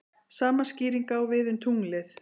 Sama skýring á við um tunglið.